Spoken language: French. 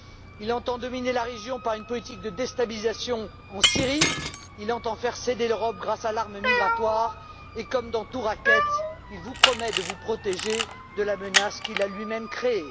Il entend dominer la région par une politique de déstabilisation en Syrie, il entend faire céder l'Europe grâce à l'arme migratoire et, comme dans tout racket, il vous promet de vous protéger de la menace qu'il a lui même créée.